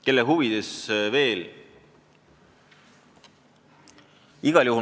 Kelle huvides veel?